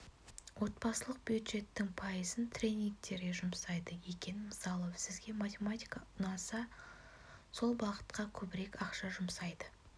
отбасылық бюджеттің пайызын тренигтерге жұмсайды екен мысалы сізге математика ұнасы сол бағытқа көбірек ақша жұмсайды